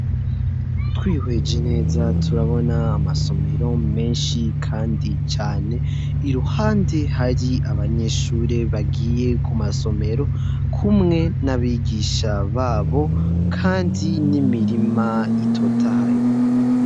Twiheje neza turabona amasomero menshi kandi cane iruhande hari abanyeshure bagiye kumasomero kumwe n'abigisha babo kandi n'imirima itotahaye.